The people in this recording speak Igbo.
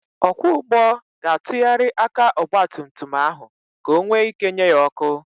Ọkwọ ụgbọ ga-atụgharị aka ọgbatumtum ahụ ka onwe ị́ké nye ya ọ́kụ́.